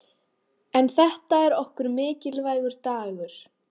En þetta er okkur mikilvægur dagur.